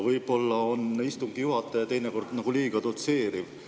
Võib-olla on istungi juhataja teinekord nagu liiga dotseeriv.